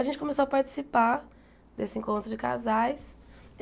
A gente começou a participar desse encontro de casais.